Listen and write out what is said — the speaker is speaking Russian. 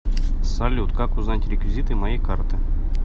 салют как узнать реквизиты моей карты